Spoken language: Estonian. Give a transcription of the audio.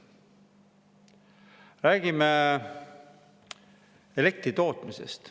Räägime elektritootmisest.